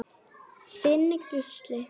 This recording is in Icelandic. Þinn Gísli.